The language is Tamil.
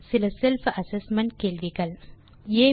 தீர்வு காண சில செல்ஃப் அசெஸ்மென்ட் கேள்விகள் 1